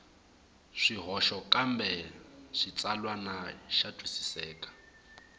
swihoxo kambe xitsalwana xa twisiseka